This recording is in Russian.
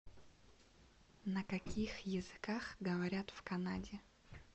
на каких языках говорят в канаде